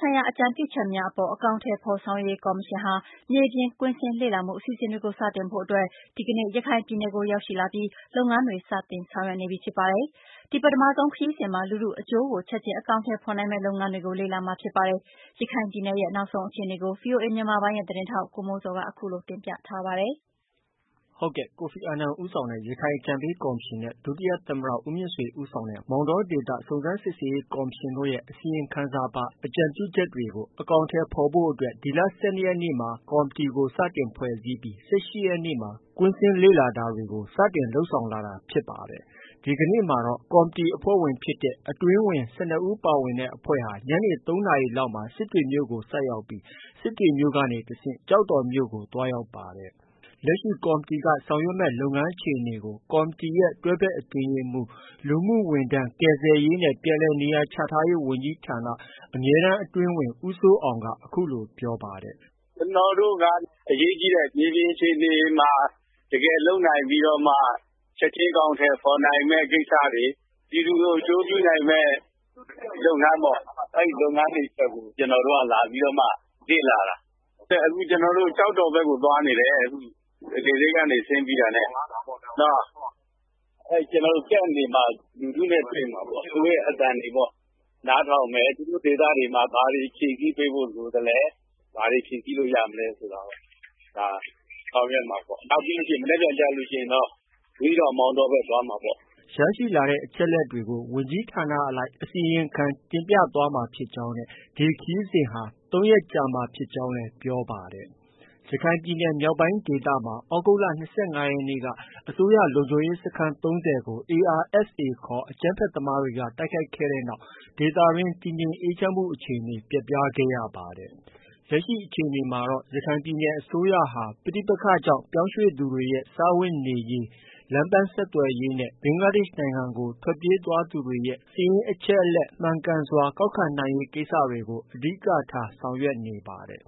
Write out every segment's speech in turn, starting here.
ဆိုင်ရာ အကြံပြုချက်များအပေါ် အကောင်အထည်ဖော်ဆောင်ရွက်ရေးကော်မရှင်ဟာ မြေပြင်ကွင်းဆင်းလေ့လာမှုအစီအစဉ်တွေကို စတင်ဖို့အတွက် ဒီကနေ့ ရခိုင်ပြည်နယ်ကို ရောက်ရှိလာပြီး လုပ်ငန်းတွေစတင်ဆောင်ရွက်နေပြီဖြစ်ပါတယ်။ ဒီပထမဆုံးခရီးစဉ်မှာ လူထုအကျိုးကို ချက်ချင်းအကောင်အထည်ဖော်နိုင်မယ့်လုပ်ငန်းတွေကို လေ့လာမှာဖြစ်ပါတယ်။ရခိုင်ပြည်နယ်ရဲ့နောက်ဆုံးအခြေအနေကို ဗွီအိုအေမြန်မာပိုင်းရဲ့သတင်းထောက် ကိုမိုးဇော်က အခုလို တင်ပြထားပါတယ်။ ကိုဖီအာနန် ဦးဆောင်တဲ့ ရခိုင်အကြံပေးကော်မရှင်နဲ့ ဒုသမ္မတ ဦးမြင့်ဆွေ ဦးဆောင်တဲ့ မောင်တော ဒေသ စုံစမ်းစစ်ဆေးရေး ကော်မရှင်တို့ရဲ့ အစီရင်ခံစာပါ အကြံပြုချက်တွေကို အကောင်အထည်ဖော်ဖို့ ဖွဲ့စည်းလိုက်တဲ့ ဒီကော်မတီဟာ ဒီလ ၁၂ရက်နေ့မှာ စတင်ဖွဲ့စည်းပြီး ၁၈ရက်နေ့မှာ ကွင်းဆင်းလေ့လာတာတွေ စတင်လုပ်ဆောင်လာတာဖြစ်ပါတယ်။ ဒီကနေ့မှာတော့ ကော်မတီအဖွဲ့ဝင်ဖြစ်တဲ့ အတွင်းဝန် ၁၂ဦး ပါဝင်တဲ့ အဖွဲ့ဟာ ညနေ ၃နာရီလောက်မှာ စစ်တွေမြို့ကို ဆိုက်ရောက်ပြီး စစ်တွေကနေ တဆင့် ကျောက်တော်မြို့ကို သွားရောက်ခဲ့ပါတယ်။ လက်ရှိ ကော်မတီက ဆောင်ရွက်မယ့် လုပ်ငန်းအခြေအနေတွေကို ကော်မတီရဲ့ တွဲဖက်အတွင်းရေးမှုး၊ လူမှုဝန်ထမ်း၊ ကယ်ဆယ်ရေးနဲ့ ပြန်လည်နေရာချထားရေးဝန်ကြီးဌာန အမြဲတမ်းအတွင်းဝန် ဦးစိုးအောင်က အခုလို ပြောပါတယ်။ “ ကျနော်တို့က အရေးကြီးတဲ့ မြေပြင်အခြေအနေမှာ တကယ်လုပ်နိုင်ပြီးတော့မှ ချက်ချင်းအကောင်အထည်ဖော်နိုင်မယ့် ကိစ္စတွေ၊ ပြည်သူကို အကျိုးပြုနိုင်မယ့် လုပ်ငန်းပေါ့။ အဲဒီလုပ်ငန်းတွေအတွက်ကို ကျနော်တို့က လာပြီးတော့မှ လေ့လာတာ။ အခုကျနော်တို့ ကျောက်တော်ဖက်ကို သွားနေတယ်။ လေဆိပ်ကနေဆင်းပြီးတာနဲ့။ Camp တွေမှာ လူထုနဲ့ တွေ့မှာပေါ့။ သူတို့ရဲ့အသံတွေနားထောင်မယ်။ သူတို့ဒေသတွေမှာ ဘာတွေဖြည့်ဆည်းပေးဖို့ လိုသလဲ။ ဘာတွေ ဖြည့်ဆည်းလို့ ရမလဲ ဆိုတာကို ဆောင်ရွက်မှာပေါ့။ မနက်ဖန်ကြလို့ ရှိရင်တော့ ဘူးသီးတောင်မောင်တောဖက် သွားမှာပေါ။” ရရှိလာတဲ့အချက်အလက်တွေကို ဝန်ကြီးဌာနအလိုက် အစီရင်ခံတင်ပြသွားမှာဖြစ်ကြောင်းနဲ့ ဒီခရီးစဉ်ဟာ ၃ရက်ကြာမှာဖြစ်ကြောင်းလည်း ပြောပါတယ်။ ရခိုင်ပြည်နယ်မြောက်ပိုင်းဒေသမှာ သြဂုတ်လ ၂၅ရက်က အစိုးရလုံခြုံရေးစခန်း၃၀ကို ARSA ခေါ် အကြမ်းဖက်သမားတွေက တိုက်ခိုက်ခံရတဲ့နောက် ဒေသတွင်း တည်ငြိမ်အေးချမ်းမှု အခြေအနေ ပျက်ပြား ခဲ့ရပါတယ်။ လက်ရှိအခြေအနေမှာတော့ ရခိုင်ပြည်နယ်အစိုးရဟာ ပဋိပက္ခကြော့င် ပြောင်းရွှေ့သူတွေရဲ့ စားဝတ်နေရေး၊ လမ်းပန်းဆက်သွယ်ရေးနဲ့ ဘင်္ဂလားဒေ့ရှ်နိုင်ငံကို ထွက်ပြေးသွားသူတွေရဲ့ စာရင်းအချက်အလက် မှန်ကန်စွာကောက်ခံရေးကိစ္စတွေကို အဓိက ထားဆောင်ရွက်နေပါတယ်။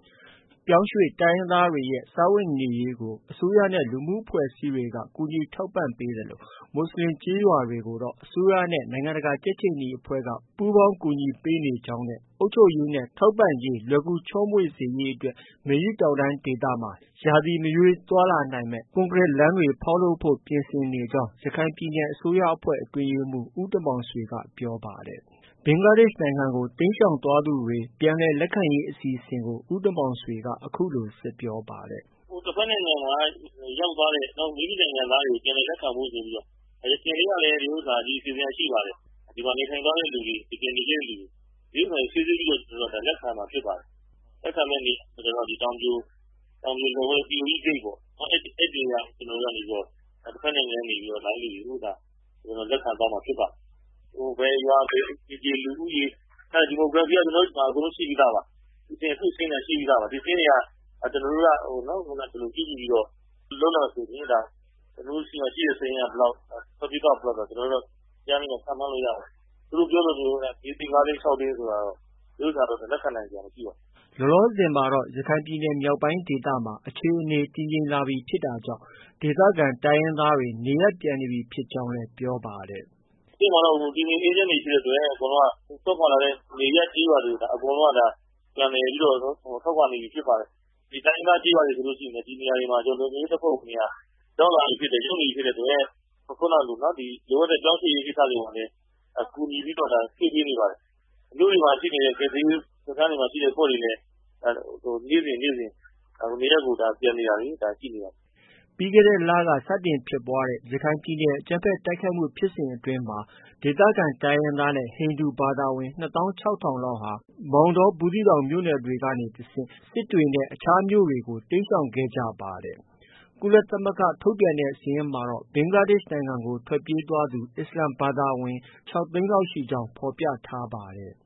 ပြောင်းရွှေ့တိုင်းရင်းသားတွေရဲ့ စားဝတ်နေရေးကို အစိုးရနဲ့ လူမှုအဖွဲ့အစည်းတွေက ကူညီထောက်ပံ့ပေးသလို မူဆလင်ကျေးရွာတွေကိုတော့ အစိုးရနဲ့ နိုင်ငံတကာကြက်ခြေနီအဖွဲ့က ပူးပေါင်း ကူညီပေးနေကြောင်းနဲ့ အုပ်ချုပ်ရေးနဲ့ ထောက်ပံ့ရေးလွယ်ကူချောမွေ့စေဖို့အတွက် မေယုတောင်တန်းဒေသမှာ ရာသီမရွေးသွားလာနိုင်မယ့် ကွန်ကရိလမ်းတွေဖောက်လုပ်နိုင်ရေးပြင်ဆင်နေတယ်လို့ ရခိုင်ပြည်နယ်အစိုးရအဖွဲ့ အတွင်းရေးမှုး ဦးတင်မောင်ဆွေက ပြောပါတယ်။ ဘင်္ဂလားဒေ့ရှ်နိုင်ငံကို တိမ်းရှောင်သွားသူတွေကို ပြန်လည်လက်ခံရေးအစီအစဉ်ကို ဦးတင်မောင်ဆွေက အခုလို ဆက်ပြောပါတယ်။ “ တဖက်နိုင်ငံမှာ ရောက်သွားတဲ့ မိမိနိုင်ငံသားတွေကို ပြန်လည် လက်ခံဖို့ ဆိုပြီးတော့ ယခင်တည်းကလည်း အဲဒီအစီအစဉ်က ရှိပါတယ်။ ဒီမှာ နေထိုင်သွားတဲ့သူတွေ တကယ်နေတဲ့သူတွေ ဒီဥစ္စာကို စိစစ်ပြီးတော့ လက်ခံရမှာ ဖြစ်ပါတယ်။ လက်ခံမယ့်နေရာကတော့ တောင်ပြိုလက်ဝဲ -- ဂိတ်ပေါ့။ အဲဒီနေရာကနေ ကျနော်တို့က တဖက်နိုင်ငံကနေ လာတဲ့သူတွေကို လက်ခံသွားမှာဖြစ်ပါတယ်။ ဘယ်ရွာ အိမ်ခြေ လူဦးရေ စတဲ့ Demography က ကျနော်တို့ ဆီမှာ အကုန်လုံးရှိပြီးသားပါ။ အိမ်ထောင်စုစာရင်းတွေက ရှိပြီးသားပါ။ ဒီစာရင်းတွေကြည့်ပြီးတော့ လုပ်လိုက်မယ်ဆိုရင် ဒါ ကျနော်တို့ဆီမှာ ရှိတဲ့စာရင်းက ဘယ်လောက်။ ထွက်ပြေးသွားတာ ဘယ်လောက်ဆိုတာ အကြမ်းဖျဉ်းတော့ ခန့်မှန်းလို့ ရပါတယ်။ သူတို့ ပြောသလို ၄သိန်း၊ ၅သိန်း၊ ၆သိန်းဆိုတာကတော့ လက်ခံနိုင်စရာ မရှိပါဘူး။ ” လောလောဆည်မှာတော့ ရခိုင်ပြည်နယ်မြောက်ပိုင်းဒေသမှာ အခြေအနေ တည်ငြိမ်လာပြီဖြစ်တာကြောင့် ဒေသခံ တိုင်းရင်းသားတွေ နေရပ်ပြန်နေပြီဖြစ်ကြောင်းလည်း ပြောပါတယ်။ “ခုချိန်မှာတော့ တည်ငြိမ်အေးချမ်းနေပြီဖြစ်တဲ့အတွက် အကုန်လုံးက စွန့်ခွာလာတဲ့နေရပ်ကျေးရွာတွေကို ပြန်လည်ပြီးတော့ ထွက်ခွာနေပြီဖြစ်ပါတယ်။ တိုင်းရင်းသားကျေးရွာတွေမှာဆိုရင်လည်း ဒီနေရာတွေမှာ လုံခြုံရေးတပ်ဖွဲ့ဝင်တွေ ရောက်လာပြီ ရောက်နေပြီဖြစ်တဲ့အတွက် လိုအပ်တဲ့ ပြောင်းရွှေ့ရေးကိစ္စတွေမှာလည်း ကူညီပြီးတော့ ရွှေ့ပေးနေပါတယ်။ မြို့တွေမှာ ရှိတဲ့ ကယ်ဆယ်ရေးစခန်းတွေမှာရှိတဲ့ အဖွဲ့တွေလည်း နေ့စဉ် နေရပ်ကို ပြန်နေတာတွေ ရှိနေပါတယ်။ ” ပြီးခဲ့တဲ့လက စတင်ဖြစ်ပွားတဲ့ ရခိုင်ပြည်နယ်အကြမ်းဖက် တိုက်ခိုက်မှုဖြစ်စဉ်အတွင်းမှာ ဒေသခံတိုင်းရင်းသားနဲ့ ဟိန္ဒူဘာသာဝင် ၂သောင်း၆ထောင်လောက်ဟာ မောင်တော၊ ဘူးသီးတောင်မြို့နယ်တွေကနေ စစ်တွေနဲ့ အခြားမြို့တွေဆီကို တိမ်းရှောင်ခဲ့ကြတာဖြစ်ပါတယ်။ ကုလသမဂ္ဂက ထုတ်ပြန်တဲ့စာရင်းမှာတော့ ဘင်္ဂလားဒေ့ရှ်နိုင်ငံကို ထွက်ပြေးသွားသူ အစ္စလာမ်ဘာသာဝင်ကတော့ ၆သိန်းလောက်ရှိကြောင်း ဖော်ပြနေပါတယ်။